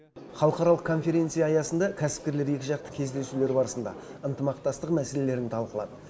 халықаралық конференция аясында кәсіпкерлер екіжақты кездесулер барысында ынтымақтастық мәселелерін талқылады